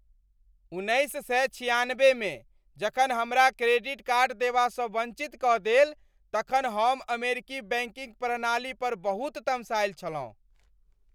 उन्नैस सए छिआनबेमे जखन हमरा क्रेडिट कार्ड देबासँ वञ्चित कऽ देल तखन हम अमेरिकी बैंकिंग प्रणाली पर बहुत तमसायल छलहुँ।